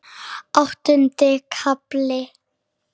Áttundi kafli